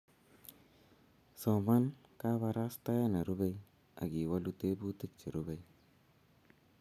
soman kabarastae ne rubei akiwolu tebutik che rubei